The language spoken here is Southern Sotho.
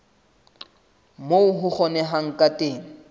moo ho kgonehang ka teng